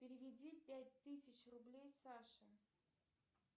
переведи пять тысяч рублей саше